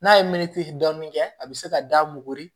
N'a ye meti dɔɔnin kɛ a bɛ se ka da muguri